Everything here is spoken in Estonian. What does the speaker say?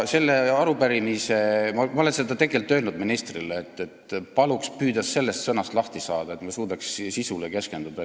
Ma olen öelnud ministrile, et paluks püüda sellest sõnast lahti saada, et me saaks sisule keskenduda.